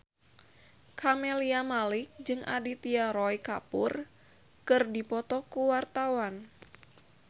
Camelia Malik jeung Aditya Roy Kapoor keur dipoto ku wartawan